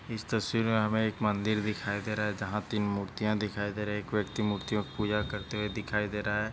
इस तस्वीर में हमे एक मंदिर दिखाई दे रहा जहा तीन मूर्तिया दिखाई दे रहे एक व्यक्ति मूर्तियों की पूजा करते हुए दिखाई दे रहा.